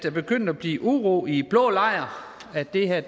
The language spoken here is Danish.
er begyndt at blive uro i blå lejr og at det er